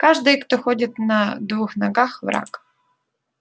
каждый кто ходит на двух ногах враг